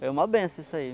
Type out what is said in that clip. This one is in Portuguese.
Foi uma benção isso aí.